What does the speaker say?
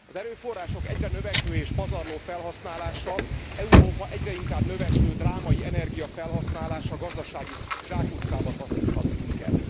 Az erőforrások egyre növekvő és pazarló felhasználása, Európa egyre inkább növekvő drámai energiafelhasználása gazdasági zsákutcába taszíthat minket.